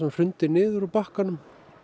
hrundi niður úr bakkanum